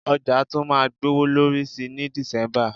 Ọjà tún máa gbowó lórí sí ní December